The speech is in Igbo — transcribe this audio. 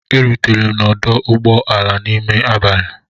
M rutere n'ọdụ ụgbọ ala n'ime abalị.